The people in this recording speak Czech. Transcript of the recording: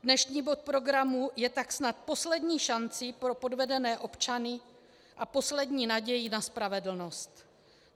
Dnešní bod programu je tak snad poslední šancí pro podvedené občany a poslední nadějí na spravedlnost.